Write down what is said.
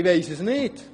Ich weiss es nicht.